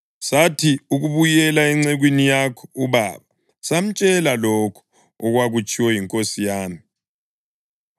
Sathi ukubuyela encekwini yakho ubaba, samtshela lokho okwakutshiwo yinkosi yami.